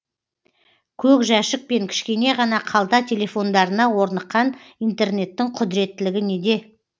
көк жәшік пен кішкене ғана қалта телефондарына орныққан интернеттің құдіреттілігі неде